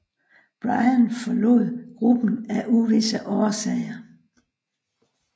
Bryan forrod gruppen af uvisse årsager